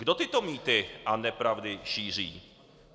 Kdo tyto mýty a nepravdy šíří?